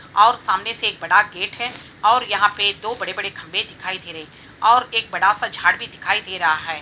ओर सामने से एक बडा गेट है और यहा पे दो बड़े-बड़े खंभे दिखाई दे रहे हैं ओर एक बडा सा झाड भी दिखाई दे रहा है।